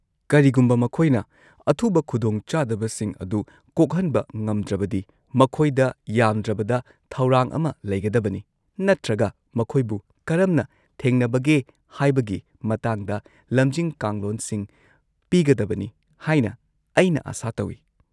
-ꯀꯔꯤꯒꯨꯝꯕ ꯃꯈꯣꯏꯅ ꯑꯊꯨꯕ ꯈꯨꯗꯣꯡꯆꯥꯗꯕꯁꯤꯡ ꯑꯗꯨ ꯀꯣꯛꯍꯟꯕ ꯉꯝꯗ꯭ꯔꯕꯗꯤ, ꯃꯈꯣꯏꯗ ꯌꯥꯝꯗ꯭ꯔꯕꯗ ꯊꯧꯔꯥꯡ ꯑꯃ ꯂꯩꯒꯗꯕꯅꯤ ꯅꯠꯇ꯭ꯔꯒ ꯃꯈꯣꯏꯕꯨ ꯀꯔꯝꯅ ꯊꯦꯡꯅꯕꯒꯦ ꯍꯥꯏꯕꯒꯤ ꯃꯇꯥꯡꯗ ꯂꯝꯖꯤꯡ ꯀꯥꯡꯂꯣꯟꯁꯤꯡ ꯄꯤꯒꯗꯕꯅꯤ ꯍꯥꯏꯅ ꯑꯩꯅ ꯑꯥꯁꯥ ꯇꯧꯏ꯫